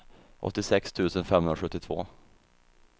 åttiosex tusen femhundrasjuttiotvå